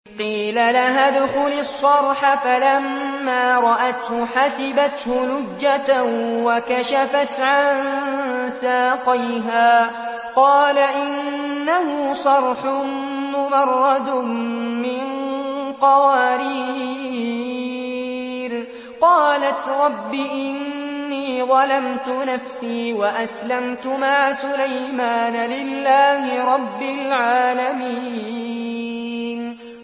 قِيلَ لَهَا ادْخُلِي الصَّرْحَ ۖ فَلَمَّا رَأَتْهُ حَسِبَتْهُ لُجَّةً وَكَشَفَتْ عَن سَاقَيْهَا ۚ قَالَ إِنَّهُ صَرْحٌ مُّمَرَّدٌ مِّن قَوَارِيرَ ۗ قَالَتْ رَبِّ إِنِّي ظَلَمْتُ نَفْسِي وَأَسْلَمْتُ مَعَ سُلَيْمَانَ لِلَّهِ رَبِّ الْعَالَمِينَ